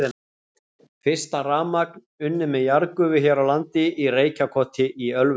Fyrsta rafmagn unnið með jarðgufu hér á landi í Reykjakoti í Ölfusi.